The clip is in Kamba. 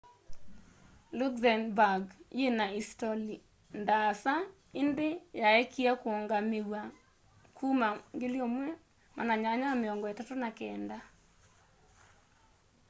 luxembourg yina isitoli ndaasa indi yaekie kuungamiwa kuma 1839